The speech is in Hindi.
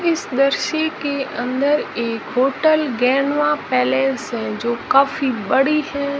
इस दृश्य के अंदर एक होटल गैनुआ पैलेस है जो काफी बड़ी है।